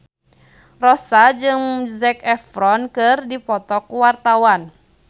Rossa jeung Zac Efron keur dipoto ku wartawan